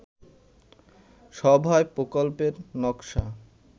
সভায় প্রকল্পের নকশা